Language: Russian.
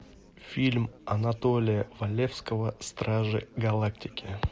фильм анатолия валевского стражи галактики